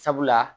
Sabula